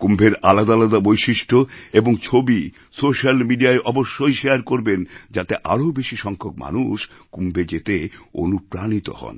কুম্ভের আলাদা আলাদা বৈশিষ্ট্য এবং ছবি সোশ্যাল মিডিয়ায় অবশ্যই শেয়ার করবেন যাতে আরো বেশি সংখ্যক মানুষ কুম্ভে যেতে অনুপ্রাণিত হন